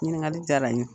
Ɲininkali diyara n ye